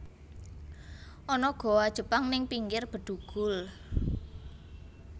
Ana goa Jepang ning pinggir Bedugul